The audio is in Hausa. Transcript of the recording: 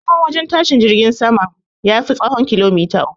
Tsahon wajen tashin jirgin saman, ya fi tsahon kilomater uku